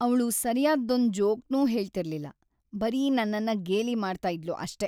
ಅವ್ಳು ಸರ್ಯಾದ್ದೊಂದ್ ಜೋಕ್‌ನೂ ಹೇಳ್ತಿರ್ಲಿಲ್ಲ, ಬರೀ ನನ್ನನ್ನ ಗೇಲಿ ಮಾಡ್ತಾ ಇದ್ಲು ಅಷ್ಟೇ.